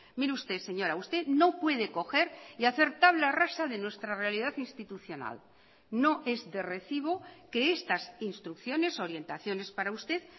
mire usted señora usted no puede coger y hacer tabla rasa de nuestra realidad institucional no es de recibo que estas instrucciones orientaciones para usted